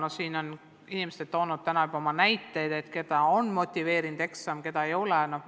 No siin on inimesed toonud täna juba näiteid, et keda on eksam motiveerinud ja keda ei ole.